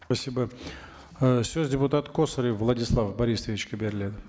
спасибо ы сөз депутат косарев владислав борисовичке беріледі